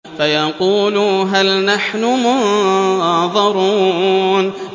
فَيَقُولُوا هَلْ نَحْنُ مُنظَرُونَ